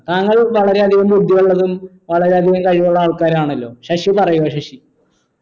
താങ്കൾ വളരെയധികം ബുദ്ധിയുള്ളതും വളരെ അധികം കഴിവുള്ളആൾക്കാരാണല്ലോ ശശി പറയുക ശശി